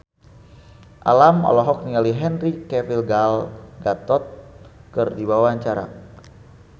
Alam olohok ningali Henry Cavill Gal Gadot keur diwawancara